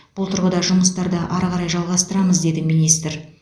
бұл тұрғыда жұмыстарды ары қарай жалғастырамыз деді министр